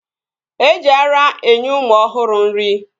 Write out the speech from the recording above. Eji ara enye ụmụ ọhụrụ nri